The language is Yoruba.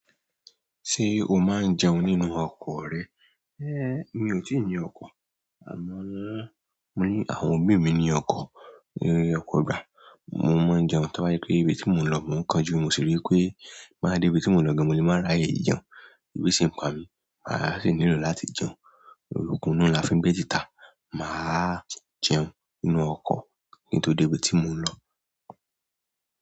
Ṣé o máa ń jẹun nínú ọkọ̀ rẹ? É mi ò tíì ní ọkọ̀, àmọ́ mo ní àwọn òbí mi ní ọkọ̀, eré ọkọ̀ gbà, mo máa ń jẹun táwáyé pé ibi tí mò ń lọ mó ń kán ju. Mo sì rí pé máa dẹ ibi tí mò ń lọ ga mo lè máa ráàyè jẹun. Ebi sì ń pa mi, mà á sì nílò láti jẹun. Okun inú la fi n gbé tìtá. Màá jẹun nínú ọkọ̀ kí n tó débi tí mò ń lọ.